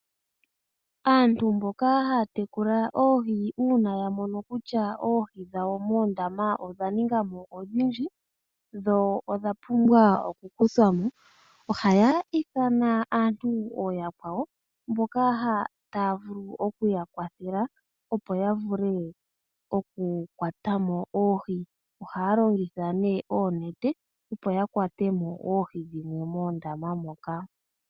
Aantu mboka haya tekula oohi uuna ya mono kutya oohi dhawo moondama odha ninga mo odhindji dho odha pumbwa okukuthwa mo ohayi ithana aantu ooyakwawo mboka taa vulu okuya kwathela opo ya vule okukwata mo oohi. Ohaya longitha oonete opo ya kwate mo oohi dhimwe moondama moka.